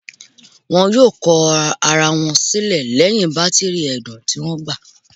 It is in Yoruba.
Wọn yoo kọ ara wọn silẹ lẹhin batiri ẹdun ti o gba